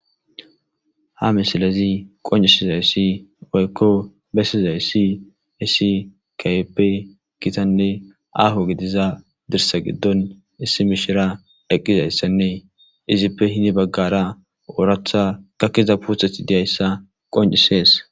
ha misilezi qoncisizayssi woykko bessizay si iisi kayeppe kitanne aho gidiza dirsa giddon issi mishira dheqqizayssanne izippe hini baggara ooratha kakkiza puuthethi diyayssa qoncisees